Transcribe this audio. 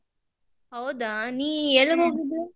ಹೌದಾ ನೀ ಎಲ್ಲಿಗೆ ಹೋಗಿದ್ದ?